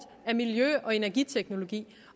af miljø og energiteknologi